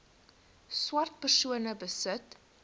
swart persone besit